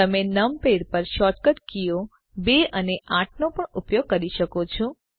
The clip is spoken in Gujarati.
તમે નમપૅડ પર શોર્ટકટ કીઓ 2 અને 8 નો પણ ઉપયોગ કરી શકો છો